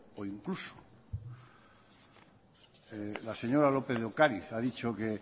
o incluso la señora lópez de ocariz ha dicho que